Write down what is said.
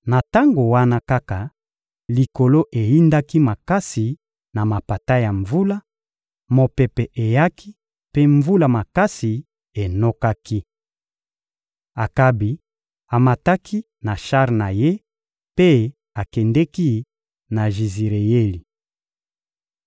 Na tango wana kaka, likolo eyindaki makasi na mapata ya mvula, mopepe eyaki, mpe mvula makasi enokaki. Akabi amataki na shar na ye mpe akendeki na Jizireyeli.